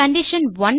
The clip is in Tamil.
கண்டிஷன்1